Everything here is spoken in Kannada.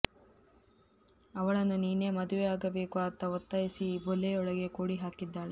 ಅವಳನ್ನು ನೀನೇ ಮದುವೆಯಾಗಬೇಕು ಅಂತ ಒತ್ತಾಯಿಸಿ ಈ ಬಲೆಯೊಳಗೆ ಕೂಡಿ ಹಾಕಿದ್ದಾಳೆ